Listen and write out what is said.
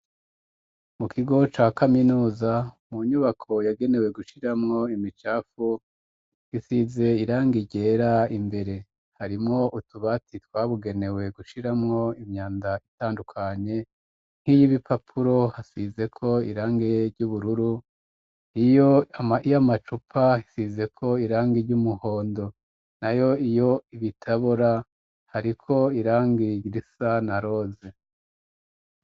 Mu kigo ca kaminuza mu nyubako yagenewe gushiramwo imicapfu isize irangi ryera imbere harimwo utubati twabugenewe gushiramwo imyanda itandukanye, nk'iy' ibipapuro hasize ko irangi ry'ubururu ,iyamacupa hasizeko irangi ry'umuhondo na yo iyo ibitabora hariko irangi risa na roze.